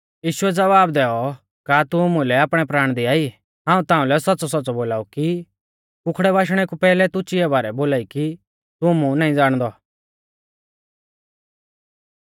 यीशुऐ ज़वाब दैऔ का तू मुलै आपणै प्राण दिआई हाऊं ताऊं लै सौच़्च़ौसौच़्च़ौ बोलाऊ कि कुखड़ै बाशणै कु पैहलै तू चिया बारै बोलाई कि तू मुं नाईं ज़ाणदौ